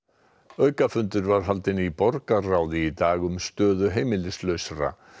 aukafundur var haldinn í borgarráði í dag um stöðu heimilislausra